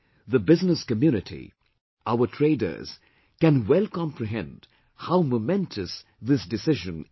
The business community, our traders can well comprehend how momentous this decision is